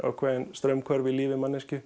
straumhvörf í lífi manneskju